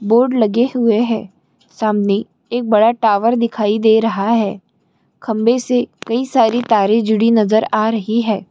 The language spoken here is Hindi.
बोर्ड लगे हुए है सामने एक बड़ा टावर दिखाई दे रहा है खंबे से कई सारी तारे जुड़ी नजर आ रही है।